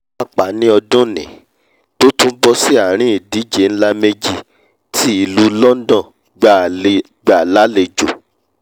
pàápàá ní ọdúnnìí tó tún bọ́ sí àrin ìdíje nlá méjì tí ìlú london gbà lálejò